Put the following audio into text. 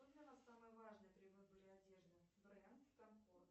что для вас самое важное при выборе одежды бренд комфорт